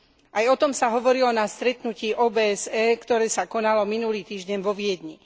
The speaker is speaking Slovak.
Aj o tom sa hovorilo na stretnutí OBSE, ktoré sa konalo minulý týždeň vo Viedni.